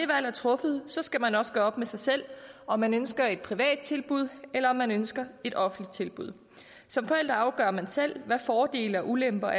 er truffet skal man også gøre op med sig selv om man ønsker et privat tilbud eller om man ønsker et offentligt tilbud som forældre afgør man selv hvad er fordele og ulemper